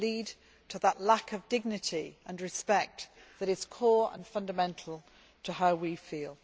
They lead to that lack of dignity and respect that is core and fundamental to how we feel.